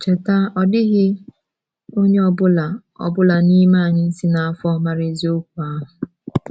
Cheta, ọ dịghị onye ọ bụla ọ bụla n’ime anyị si n’afọ mara eziokwu ahụ.